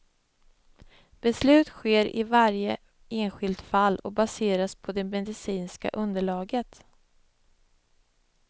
Beslut sker i varje enskilt fall och baseras på det medicinska underlaget.